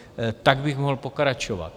Tak bych mohl pokračovat.